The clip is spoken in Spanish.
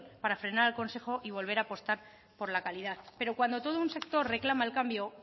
para frenar al consejo y volver a apostar por la calidad pero cuando todo un sector reclama el cambio